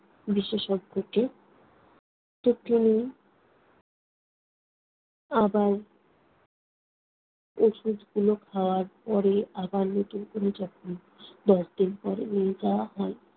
বিশেষজ্ঞকে আবার ঔষধগুলো খাওয়ার পরে আবার নতুন করে যখন দশ দিন পরে নিয়ে যাওয়া হয়